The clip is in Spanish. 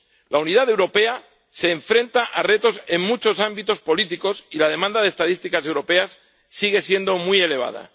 La unidad europea se enfrenta a retos en muchos ámbitos políticos y la demanda de estadísticas europeas sigue siendo muy elevada.